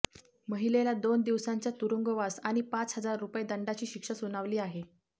महिलेला दोन दिवसांचा तुरुंगवास आणि पाच हजार रुपये दंडाची शिक्षा सुनावली आहे